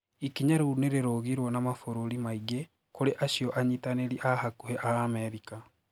Ikinya riu nirirogirwo na maburũri maingi, kuri acio anyitaniri aa hakuhi aa Amerika.